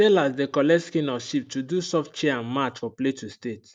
sellers dey collect skin of sheep to do soft chair and mat for plateau state